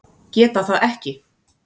Geta það ekki.